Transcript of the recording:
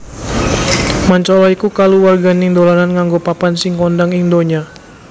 Mancala iku kaluwarganing dolanan nganggo papan sing kondhang ing ndonya